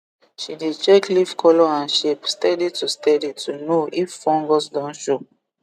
she dey check leaf colour and shape steady to steady to know if fungus don show